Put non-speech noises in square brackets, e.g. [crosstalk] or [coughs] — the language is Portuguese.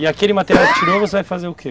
E aquele material [coughs] que tirou você vai fazer o que?